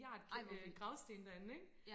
ej hvor vildt ja